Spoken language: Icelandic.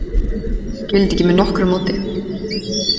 Skil þetta ekki með nokkru móti.